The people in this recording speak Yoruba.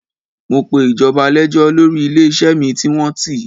Mo pe ìjọba lẹ́jọ́ lọrí ilé-iṣẹ́ mi tí wọ́n tì.